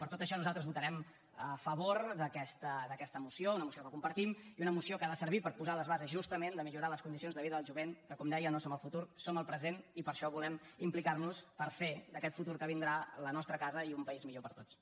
per tot això nosaltres votarem a favor d’aquesta moció una moció que compartim i una moció que ha de servir per posar les bases justament per millorar les condicions de vida del jovent que com deia no som el futur som el present i per això volem implicar nos per fer d’aquest futur que vindrà la nostra casa i un país millor per a tots